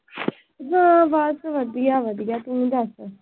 ਹੋਰ ਬਸ ਵਧੀਆ ਵਧੀਆ। ਤੂੰ ਦੱਸ।